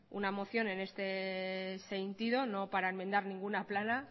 una moción en este sentido no para enmendar ninguna plana